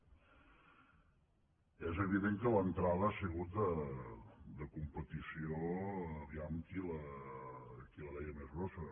és evident que l’entrada ha sigut de competició a veure qui la deia més grossa